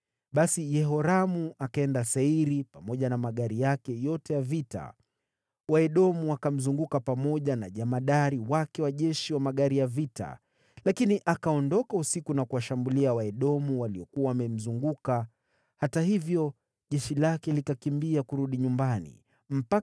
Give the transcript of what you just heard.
Basi Yehoramu akaenda Sairi pamoja na magari yake yote ya vita. Waedomu wakamzunguka yeye na majemadari wake wa magari yake ya vita, lakini akaondoka, akapenya usiku na kuwashambulia Waedomu. Hata hivyo, jeshi lake likatorokea nyumbani mwao.